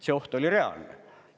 See oht oli reaalne.